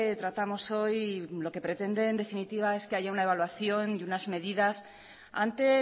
tratamos hoy lo que pretende en definitiva es que haya una evaluación y unas medidas ante